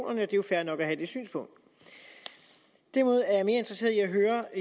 og det er jo fair nok at have det synspunkt derimod er jeg mere interesseret i at høre